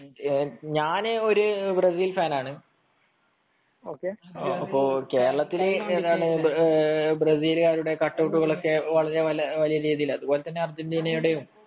ഞാന് ഒരു Brazil fan ആണ് കേരളത്തിൽ ബ്രസീലിന്റെ കട്ട് ഔട്ടുകൾ ഒക്കെ വളരെ വലിയ രീതിയിലാണ് അതേപോലെതന്നെ അർജന്റീനയുടെയും